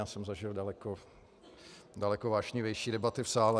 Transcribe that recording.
Já jsem zažil daleko vášnivější debaty v sále.